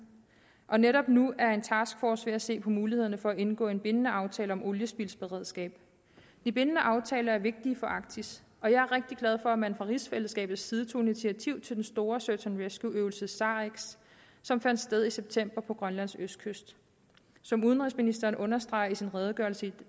og netop nu er en taskforce ved at se på mulighederne for at indgå en bindende aftale om oliespildsberedskab de bindende aftaler er vigtige for arktis og jeg er rigtig glad for at man fra rigsfællesskabets side tog initiativ til den store search and rescue øvelse sarex som fandt sted i september på grønlands østkyst som udenrigsministeren understreger i sin redegørelse